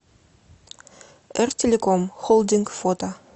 эр телеком холдинг фото